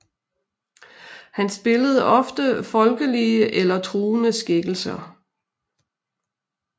Han spillede ofte folkelige eller truende skikkelser